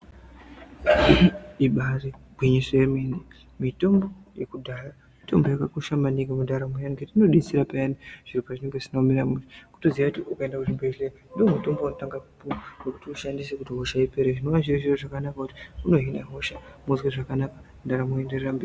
Ibari gwinyiso yemene. Mitombo yekudhaya mitombo yakakosha maningi mundaramo yangu ngekuti unodetsera maningi zviro pazvinenge zvisina kumira mushe kutoziya kuti ukaenda kuzvibhedhleya ndiwo mutombo waunotanga kupuwa kuti ushandise kuti hosha ipere zvinova zviri zviro zvakanaka kuti unohina hosha ndaramo yotoenderera mberi.